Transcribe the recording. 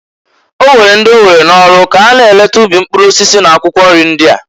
O nwere ndị owere n'ọlụ ka ha na-eleta ubi mpkụrụ osisi na akwụkwọ nri ndia.